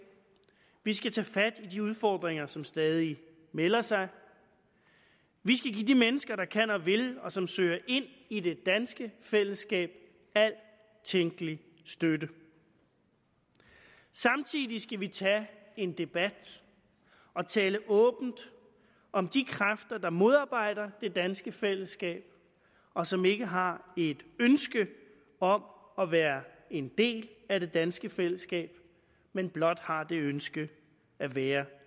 vi skal tage fat i de udfordringer som stadig melder sig vi skal give de mennesker der kan og vil og som søger ind i det danske fællesskab al tænkelig støtte samtidig skal vi tage en debat og tale åbent om de kræfter der modarbejder det danske fællesskab og som ikke har et ønske om at være en del af det danske fællesskab men blot har det ønske at være